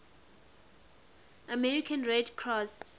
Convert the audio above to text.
american red cross